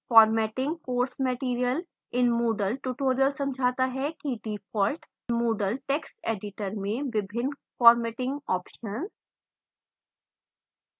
formatting course material in moodle tutorial समझाता हैdefault moodle text editor में विभिन्न formatting options